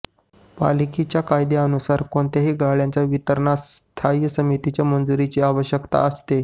पालिका कायद्यानुसार कोणत्याही गाळ्यांच्या वितरणास स्थायी समितीच्या मंजुरीची आवश्यकता असते